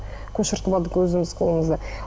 көшіртіп алдық өзіміз қолымызға